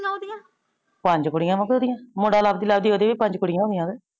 ਪੰਜ ਕੁੜੀਆਂ ਬਾਬੇ ਓਹ ਦਿਆਂ ਮੁੰਡਾ ਲਾਬਦੀ ਲਾਬਦੀ ਓਹ ਦੀ ਵੀ ਪੰਜ ਕੁੜੀਆਂ ਹੋ ਗੀਆਂ।